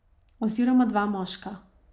Oziroma dva moška.